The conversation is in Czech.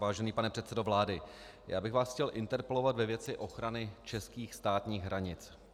Vážený pane předsedo vlády, já bych vás chtěl interpelovat ve věci ochrany českých státních hranic.